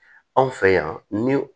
Anw fɛ yan ni